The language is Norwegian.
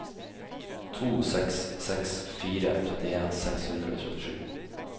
to seks seks fire trettien seks hundre og trettisju